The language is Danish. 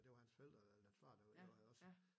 Og det var hans forældre eller far da allerede også